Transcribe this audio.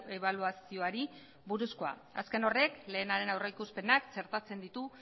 ebaluazioari buruzkoa azken horrek lehenaren aurrikuspenak txertatzen ditu